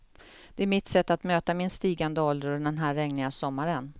Det är mitt sätt att möta min stigande ålder och den här regniga sommaren.